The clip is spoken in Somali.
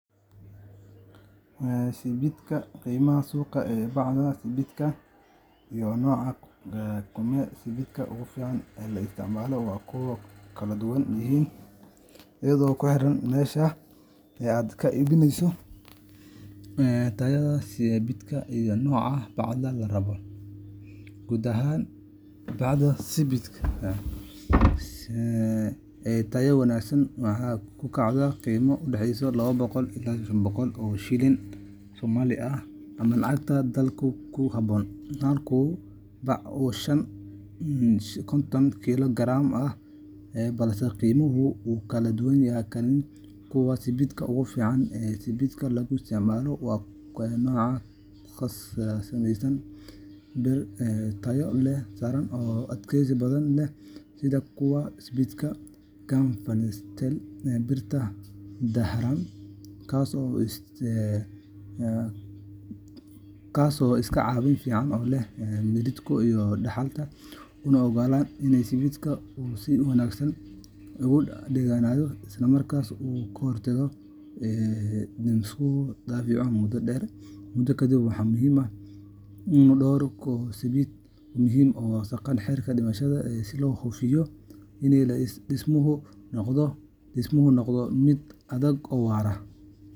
Qiimaha suuqa ee bacda sibidhka iyo nooca kume siidhka ugu fiican ee la isticmaalo way ku kala duwan yihiin iyadoo ku xiran meesha aad ka iibsaneyso, tayada sibidhka, iyo nooca bacda la rabo. Guud ahaan, bacda sibidhka ee tayada wanaagsan waxay ku kacdaa qiimo u dhexeeya laba boqol ilaa shan boqol shilin Soomaali ah ama lacagta dalkaaga ku habboon halkii bac oo konton kiilo garaam ah, balse qiimuhu wuu kala duwanaan karaa. Kume siidhka ugu fiican ee sibidhka lagu isticmaalo waa nooca ka samaysan bir tayo sare leh oo adkaysi badan leh, sida kume siidhka galvanized steel birta dahaaran, kaas oo iska caabin fiican u leh miridhku iyo daxalka, una oggolaanaya in sibidhka uu si wanaagsan ugu dhegganaado, isla markaana ka hortaga in dhismuhu daciifo muddo kadib. Waxaa muhiim ah in la doorto kume siidh tayo leh oo waafaqsan heerarka dhismaha si loo hubiyo in dhismuhu noqdo mid adag oo waara.